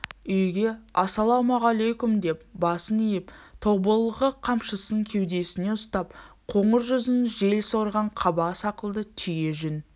үйге ассалаумағалейкомдеп басын иіп тобылғы қамшысын кеудесіне ұстап қоңыр жүзін жел сорған қаба сақалды түйе жүн